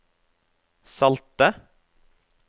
salte